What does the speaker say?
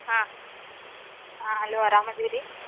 ಹಾ. ಹಾ Hello ಆರಾಮದಿರಿ?